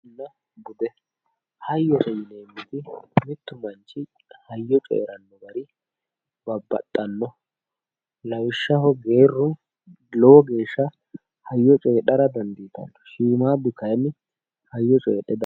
hayyonna bude hayyote yineemmoti mittu manchi hayyo coyiiranno garibabbaxxanno, lawishshaho geerru lowo geeshsha hayyo coyiidhara dandiitanno shiimmaaddu kayiinni hayyo coyiidhe diaffanno.